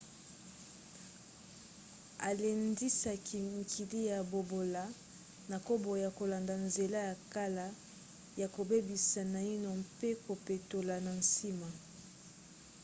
alendisaki mikili ya bobola na koboya kolanda nzela ya kala ya kobebisa naino mpe kopetola na nsima.